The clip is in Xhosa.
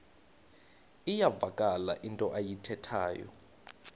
iyavakala into ayithethayo